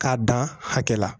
K'a dan hakɛ la